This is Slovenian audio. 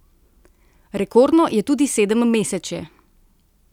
Rekordno je tudi sedemmesečje.